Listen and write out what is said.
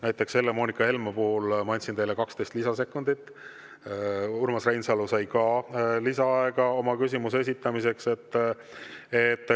Näiteks, Helle-Moonika Helmele ma andsin 12 lisasekundit, Urmas Reinsalu sai ka lisaaega oma küsimuse esitamiseks.